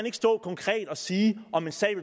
ikke stå konkret og sige om en sag